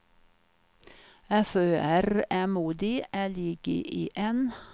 F Ö R M O D L I G E N